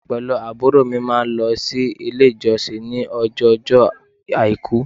Èmí pẹ̀lú àbúrò máa n lo sílé ìjọsìn ni ọjọ ojó àìkú